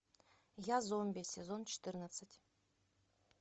я зомби сезон четырнадцать